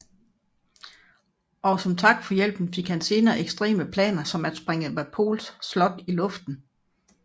Og som tak for hjælpen fik han senere ekstreme planer som at sprænge Wapols slot i luften